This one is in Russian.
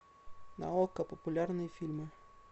на окко популярные фильмы